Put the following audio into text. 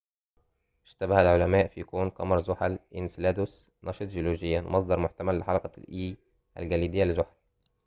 اشتبه العلماء في كون قمر زحل إنسيلادوس نشط جيولوجياً ومصدر محتمل لحلقة الإي الجليدية لزحل